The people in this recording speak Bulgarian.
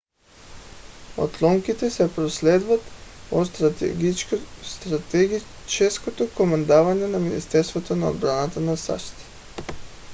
отломките се проследяват от стратегическото командване на министерството на отбраната на сащ